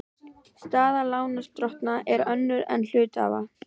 Staða lánardrottna er önnur en hluthafa.